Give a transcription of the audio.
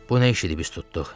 Bu nə iş edib üst tutduq?